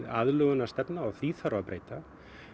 aðlögunarstefna og því þarf að breyta